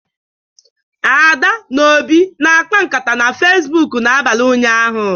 Ada na Obi na-akpa nkata na facebook n'abalị ụnyahụ